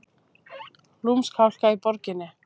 Lúmsk hálka í borginni